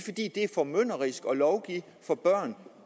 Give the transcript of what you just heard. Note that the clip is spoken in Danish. formynderisk at lovgive for børn